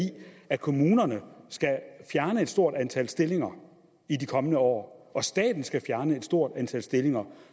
at kommunerne skal fjerne et stort antal stillinger i de kommende år og at staten skal fjerne et stort antal stillinger